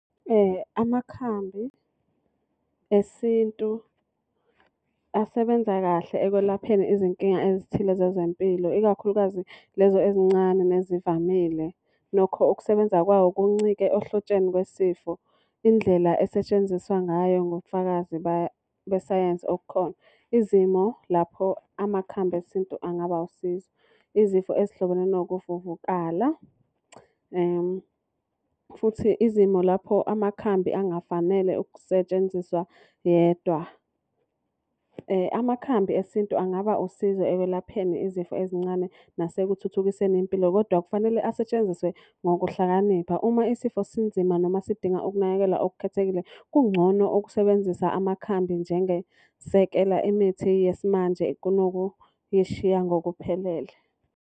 Amakhambi esintu asebenza kahle ekwelapheni izinkinga ezithile zezempilo, ikakhulukazi lezo ezincane nezivamile. Nokho ukusebenza kwawo kuncike ohlotsheni lwesifo. Indlela esetshenziswa ngayo ngobufakazi besayensi obukhona. Izimo lapho amakhambi esintu angaba wusizo, izifo ezihlobene nokuvuvukala. Futhi izimo lapho amakhambi angafanele ukusetshenziswa yedwa. Amakhambi esintu angaba usizo ekwelapheni izifo ezincane nasekuthuthukiseni impilo kodwa kufanele asetshenziswe ngokuhlakanipha. Uma isifo sinzima noma sidinga ukunakekelwa okukhethekile, kungcono ukusebenzisa amakhambi njengesekela imithi yesimanje kunokuyishiya ngokuphelele.